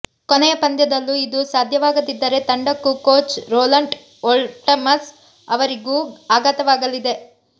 ಕೊನೆಯ ಪಂದ್ಯದಲ್ಲೂ ಇದು ಸಾಧ್ಯವಾಗದಿದ್ದರೆ ತಂಡಕ್ಕೂ ಕೋಚ್ ರೋಲಂಟ್ ಓಲ್ಟಮನ್ಸ್ ಅವರಿಗೂ ಆಘಾತವಾಗಲಿದೆ